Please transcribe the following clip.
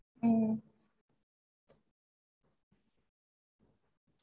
ஹம்